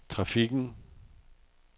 trafikken